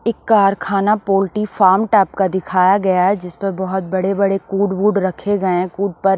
एक कारखाना poultry farm type का दिखाया गया है जिस पर बहुत बड़े-बड़े कूड वूड रखे गए हैं कूड प--